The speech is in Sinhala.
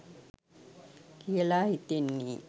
කියලා හිතන්නේ.